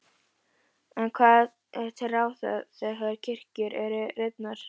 En hvað er til ráða þegar kirkjur eru rifnar?